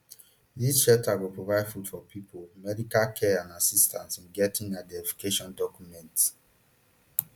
dis shelters go provide food for pipo medical care and assistance in getting identification documents